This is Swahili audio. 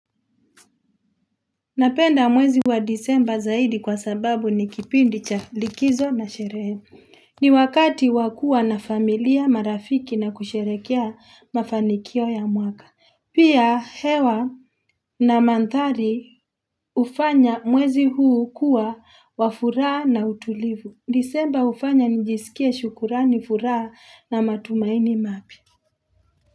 Napenda mwezi wa disemba zaidi kwa sababu ni kipindi cha likizo na sherehe ni wakati wa kua na familia marafiki na kusherekea mafanikio ya mwaka Pia hewa na madhari hufanya mwezi huu kua wa furaha na utulivu Disemba hufanya nijisikie shukurani furaha na matumaini mapya.